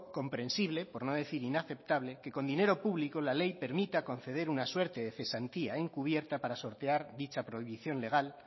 comprensible por no decir inaceptable que con dinero público la ley permita conceder una suerte de cesantía encubierta para sortear dicha prohibición legal